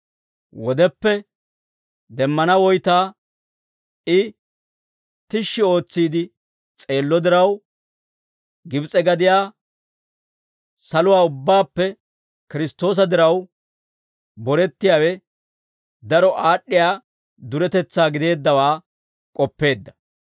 Wodeppe demmana woytaa I tishshi ootsiide s'eello diraw, Gibs'e gadiyaa shaluwaa ubbaappe Kiristtoosa diraw borettiyaawe daro aad'd'iyaa duretetsaa gideeddawaa k'oppeedda.